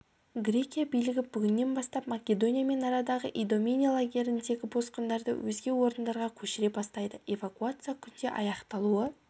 грекия билігі бүгіннен бастап македониямен арадағы идомени лагеріндегі босқындарды өзге орындарға көшіре бастайды эвакуация күнде аяқталуы